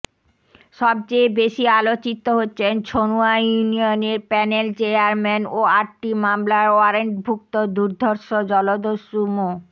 সবচেয়ে বেশি আলোচিত হচ্ছেন ছনুয়া ইউনিয়নের প্যানেল চেয়ারম্যান ও আটটি মামলার ওয়ারেন্টভুক্ত দুর্ধর্ষ জলদস্যু মো